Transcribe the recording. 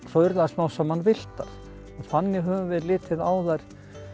svo urðu þær smám saman villtar og þannig höfum við litið á þær